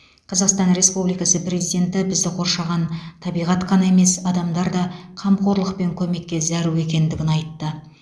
қазақстан республикасы президенті бізді қоршаған табиғат қана емес адамдар да қамқорлық пен көмекке зәру екендігін айтты